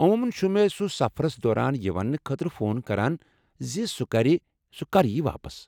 عموٗمن چُھ سُہ مے٘ سفرس دوران یہ وننہٕ خٲطرٕ فون کران زِ سُہ کرِ سُہ کر ییہِ واپس ۔